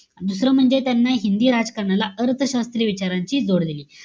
दुसरं म्हणजे त्याना हिंदी राजकारणाला अर्थ शास्त्रीय विचारांची जोड दिली.